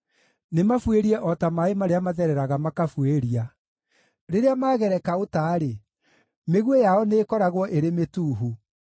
Nĩmabuĩrie o ta maaĩ marĩa mathereraga makabuĩria; rĩrĩa magereka ũta-rĩ, mĩguĩ yao nĩĩkoragwo ĩrĩ mĩtuuhu.